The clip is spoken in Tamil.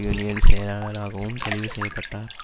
யூனியன் செயலாளராகவும் தெளிவு செய்ய பட்டார்